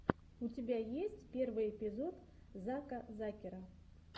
у тебя есть первый эпизод зака закера